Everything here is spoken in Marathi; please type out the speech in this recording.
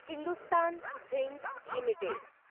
Hindustan zinc limited